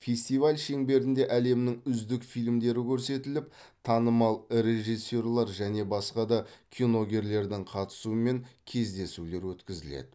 фестиваль шеңберінде әлемнің үздік фильмдері көрсетіліп танымал режиссерлер және басқа де киногерлердің қатысуымен кездесулер өткізіледі